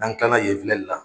N'an kilala yen filɛli la